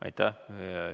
Aitäh!